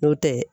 N'o tɛ